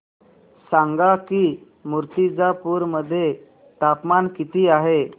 सांगा की मुर्तिजापूर मध्ये तापमान किती आहे